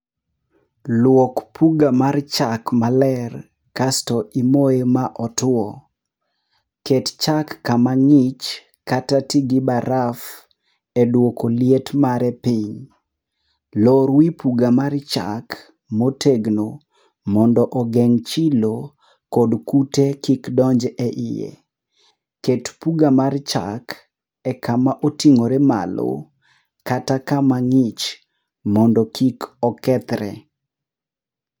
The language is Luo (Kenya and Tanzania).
Luok puga mar chak maler kasto ikete otuo. Ket chak kama ng'ich kata ti gi baraf eduoko liet mare piny. Lor wi puga mar chak motegno, mondo ogeng' chilo kod kute kik donj eiye. Ket puga mar chak e kama oting'ore malo, kata kama ng'ich mondo kik okethre.